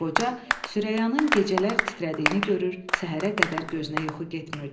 Qoca Sürəyanın gecələr titrədiyini görür, səhərə qədər gözünə yuxu getmirdi.